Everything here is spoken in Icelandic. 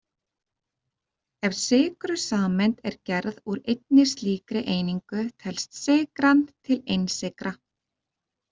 Ef sykrusameind er gerð úr einni slíkri einingu telst sykran til einsykra.